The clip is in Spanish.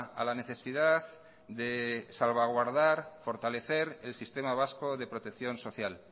a la necesidad de salvaguardar fortalecer el sistema vasco de protección social